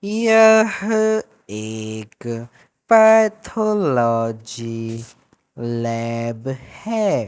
यह एक pathology lab है।